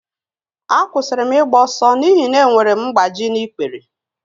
Akwụsịrị m ịgba ọsọ n'ihi na enwere m mgbaji n'ikpere